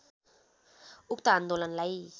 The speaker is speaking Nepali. उक्त आन्दोलनलाई